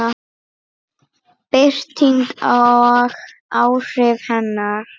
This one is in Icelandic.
Birting og áhrif hennar.